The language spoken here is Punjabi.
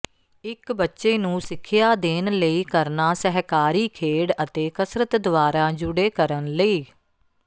ਇੱਕ ਬੱਚੇ ਨੂੰ ਸਿੱਖਿਆ ਦੇਣ ਲਈ ਕਰਨਾ ਸਹਿਕਾਰੀ ਖੇਡ ਅਤੇ ਕਸਰਤ ਦੁਆਰਾ ਜੁਡੇ ਕਰਨ ਲਈ